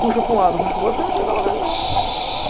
Puxa para um lado, puxa para outro, você não chega a lugar nenhum.